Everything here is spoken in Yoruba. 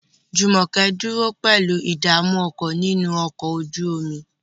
Jumoke dúró pẹ̀lú ìdààmú ọkàn nínú ọkọ̀ ojú omi.